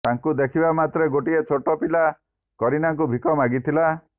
ତାଙ୍କୁ ଦେଖିବା ମାତ୍ରେ ଗୋଟିଏ ଛୋଟ ପିଲା କରୀନାଙ୍କୁ ଭିକ ମାଗିଥିଲା